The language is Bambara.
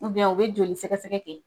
u bɛ joli sɛgɛsɛgɛ kɛ.